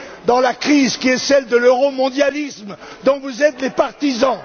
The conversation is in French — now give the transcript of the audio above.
dans la crise qui est celle de l'euromondialisme, dont vous êtes les partisans.